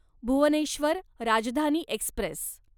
Bhubaneswar Rajdhani Express